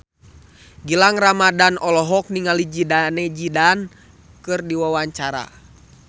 Gilang Ramadan olohok ningali Zidane Zidane keur diwawancara